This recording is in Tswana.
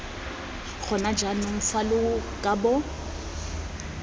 gona jaanong fa lo kabo